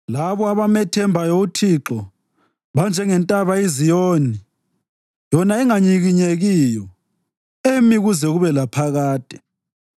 Labo abamethembayo uThixo banjengentaba iZiyoni, yona enganyikinyekiyo, emi kuze kube laphakade.